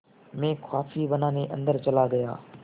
मैं कॉफ़ी बनाने अन्दर चला गया